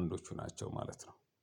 አንዶቹ ናቸው። ማለት ነው